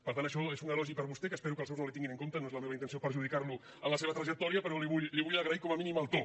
per tant això és un elogi per a vostè que espero que els seus no li tinguin en compte no és la meva intenció perjudicar lo en la seva trajectòria però li vull agrair com a mínim el to